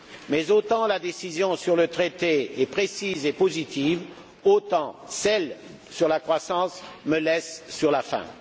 Mais autant la décision sur le traité est précise et positive, autant celle sur la croissance me laisse sur ma faim.